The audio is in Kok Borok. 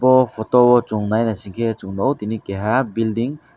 bo photo o chung nainaisikhe chung nuk o keha building.